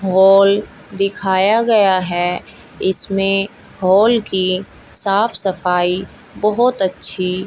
hall दिखाया गया है इसमें हाल की साफ सफाई बहोत अच्छी--